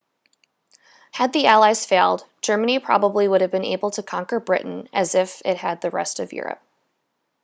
had the allies failed germany probably would have been able to conquer britain as it had the rest of europe